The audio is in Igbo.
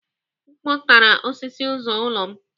Mkpu takara osisi ụzọ ụlọ m